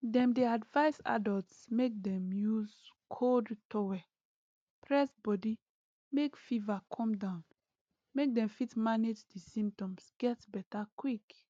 dem dey advise adults make dem use cold towel press body make fever come down make dem fit manage di symptoms get beta quick